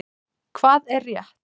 Hvað er rétt?